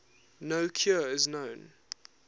no cure is known